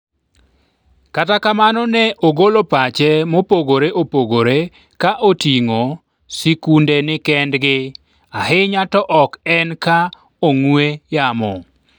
kata kamano ne ogolo pache mopogore opogore ka oting'o sikunde nikendgi ahinya to ok en ka ong'we yamo